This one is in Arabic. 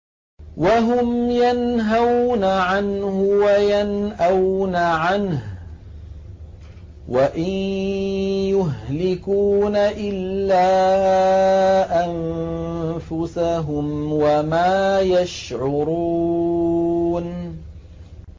وَهُمْ يَنْهَوْنَ عَنْهُ وَيَنْأَوْنَ عَنْهُ ۖ وَإِن يُهْلِكُونَ إِلَّا أَنفُسَهُمْ وَمَا يَشْعُرُونَ